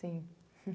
Sim.